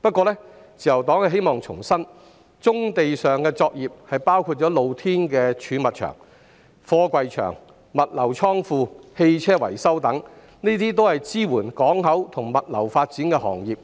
不過，自由黨希望重申，棕地作業包括露天貯物場、貨櫃場、物流倉庫、汽車維修等，均是支援港口及物流發展的行業，